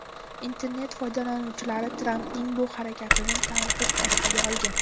Internet foydalanuvchilari Trampning bu harakatini tanqid ostiga olgan.